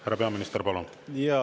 Härra peaminister, palun!